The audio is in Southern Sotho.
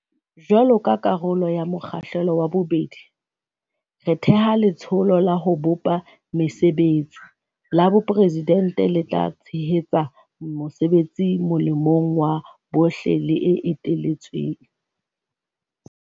Jwaloka karolo ya mo kgahlelo wa bobedi, re theha Letsholo la ho bopa Mesebetsi la Boporesidente le tla tshe hetsa mosebetsi molemong wa bohle le eteletsweng.